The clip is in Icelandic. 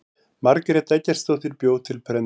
margrét eggertsdóttir bjó til prentunar